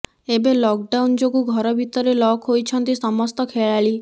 ଏବେ lockdown ଯୋଗୁଁ ଘର ଭିତରେ ଲକ୍ ହୋଇଛନ୍ତି ସମସ୍ତ ଖେଳାଳି